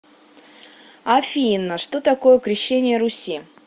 афина что такое крещение руси